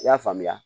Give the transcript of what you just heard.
I y'a faamuya